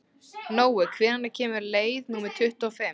Nói, hvenær kemur leið númer tuttugu og fimm?